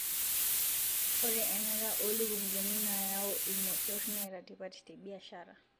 ore enata olukunguni nayu irmosor Neeta tipat tebiashara